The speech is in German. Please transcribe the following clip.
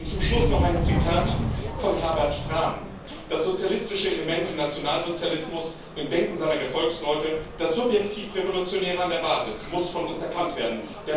Und zum Schluss noch ein Zitat von Herbert Frahm Das sozialistische Element im Nationalsozialismus, im Denken seiner Gefolgsleute, das subjektiv Revolutionäre an der Basis, muss von uns erkannt werden.